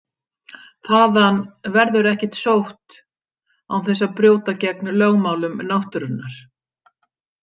Þaðan verður ekkert sótt án þess að brjóta gegn lögmálum náttúrunnar.